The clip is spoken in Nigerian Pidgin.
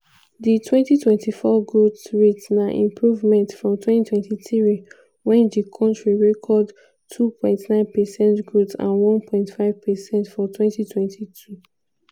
di 2024 growth rate na improvement from 2023 when di kontri record 2.9 percent growth and 1.5 percent for 2022.